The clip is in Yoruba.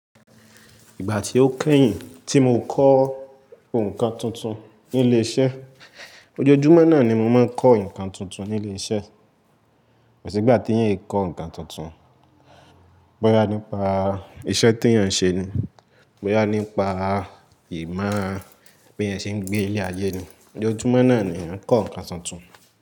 Ìgbà tí ó kẹ́yìn tí mo kọ́ nǹkan tuntun ní ilé iṣẹ́, ojoojúmọ́ náà ni mo máa ń kọ́ ǹkan tuntun ní ilé iṣẹ́. Kosi ìgbà tí eyan ń kọ́ ǹkan tuntun, bọ́yá nípa iṣẹ́ tí eyan ń ṣe ni, bọ́yá nípa ìmọ̀ bi eyan ṣe ń gbé ní ilé ayẹ́ ni, ojoojúmọ́ náà ni ń kọ́ ǹkan tuntun.